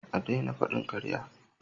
A daina faɗin ƙarya!